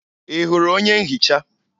Ị hụrụ onye nhicha?